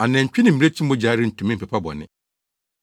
Anantwi ne mmirekyi mogya rentumi mpepa bɔne.